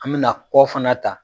An bɛ na kɔ fana ta.